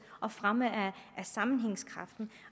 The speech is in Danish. og fremme sammenhængskraften